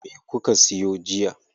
Me kuka siyo jiya?